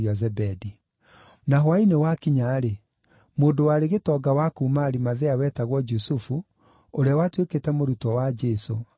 Na hwaĩ-inĩ wakinya-rĩ, mũndũ warĩ gĩtonga wa kuuma Arimathea, wetagwo Jusufu, ũrĩa watuĩkĩte mũrutwo wa Jesũ agĩũka.